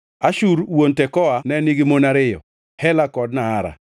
Ashur wuon Tekoa ne nigi mon ariyo, Hela kod Naara.